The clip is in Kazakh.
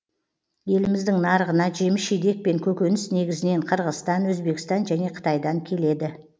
еліміздің нарығына жеміс жидек пен көкөніс негізінен қырғызстан өзбекстан және қытайдан келеді